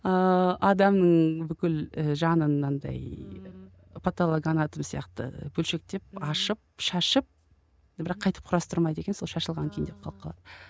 ыыы адамның бүкіл ы жанын мынандай паталоганатом сияқты бөлшектеп ашып шашып бірақ қайтып құрастырмайды екен сол шашылған күйінде қалып қалады